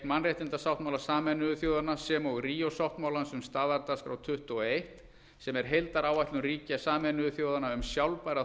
mannréttindasáttmála sameinuðu þjóðanna sem og ríó sáttmálans um staðardagskrá tuttugu og eitt sem er heildaráætlun ríkja sameinuðu þjóðanna um sjálfbæra